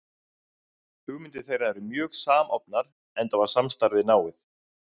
Hugmyndir þeirra eru mjög samofnar, enda var samstarfið náið.